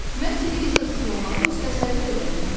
Mən televizorsuz olmağa heç təsəvvür edə bilmirəm.